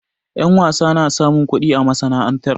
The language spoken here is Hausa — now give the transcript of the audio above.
Ƴa wasa na samun kuɗi a masana'antar.